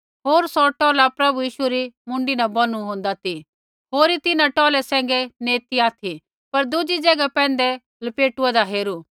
होर सौ टौला प्रभु यीशु री मुँडी न बौनु होन्दा ती होरी तिन्हां टौलै सैंघै नैंई ती ऑथि पर दुज़ी ज़ैगा पैंधै पलेटू होन्दा हेरू